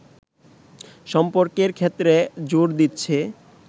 সম্পর্কের ক্ষেত্রে জোর দিচ্ছে